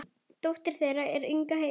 Dóttir þeirra er Inga Heiða.